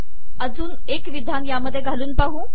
अजून एक विधान यात घालून पाहू